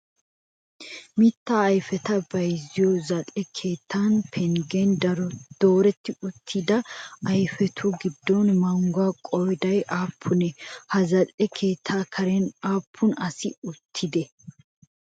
Mitta ayifeta bayzziyo zal'e keettaa penggen dooretti uttida ayfetu giddon mangguwaa qooday aappunee? Ha za'le keettaa karen aappun asayi uttidee?